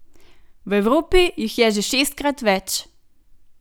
V Evropi jih je že šestkrat več!